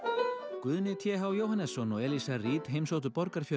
Guðni t h Jóhannesson og Eliza Reid heimsóttu Borgarfjörð